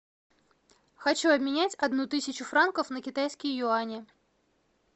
хочу обменять одну тысячу франков на китайские юани